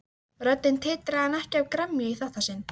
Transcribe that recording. Röddin titraði en ekki af gremju í þetta sinn.